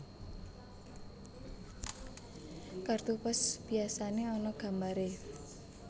Kartu pos biyasané ana gambaré